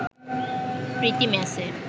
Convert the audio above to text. প্রীতি ম্যাচে